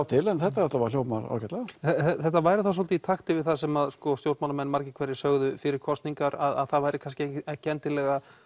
til en þetta þetta hljómar ágætlega þetta væri þá svolítið í takt við það sem stjórnmálamenn margir hverjir sögðu fyrir kosningar að það væri kannski ekki endilega